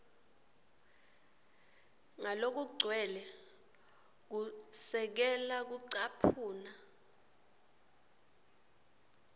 ngalokugcwele kwesekela kucaphuna